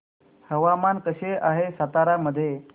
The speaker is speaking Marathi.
हवामान कसे आहे सातारा मध्ये